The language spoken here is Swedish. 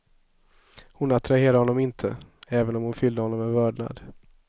Hon attraherade honom inte, även om hon fyllde honom med vördnad.